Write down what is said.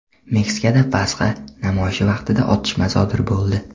Meksikada Pasxa namoyishi vaqtida otishma sodir bo‘ldi.